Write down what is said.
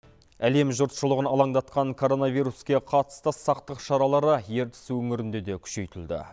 әлем жұртшылығын алаңдатқан коронавируске қатысты сақтық шаралары ертіс өңірінде де күшейтілді